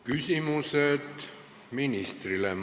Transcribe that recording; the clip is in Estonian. Küsimused ministrile.